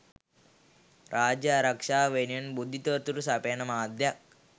රාජ්‍යාරක්ෂාව වෙනුවෙන් බුද්ධි තොරතුරු සපයන මාධ්‍යයක්